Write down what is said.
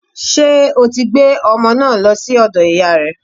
Ṣé o ti gbé ọmọ naa lọ sí ọ̀dọ̀ ìyáa rẹ̀?